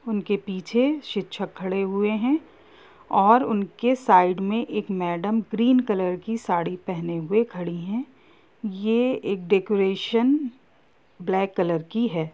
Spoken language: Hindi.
उनके पीछे शिक्षक खड़े हुए है और उनके साइड मे एक मैडम ग्रीन कलर की साड़ी पहने हुए खड़ी है ये एक डेकोरेशन ब्लैक कलर की है।